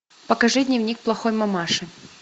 покажи дневник плохой мамаши